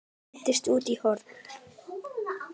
Hendist út í horn.